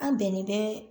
An bɛnnen bɛ